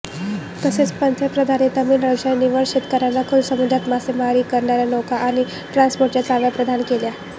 तसेच पंतप्रधानांनी तामिळनाडूच्या निवडक शेतकर्यांना खोल समुद्रात मासेमारी करणार्या नौका आणि ट्रान्स्पॉडर्सच्या चाव्या प्रदान केल्या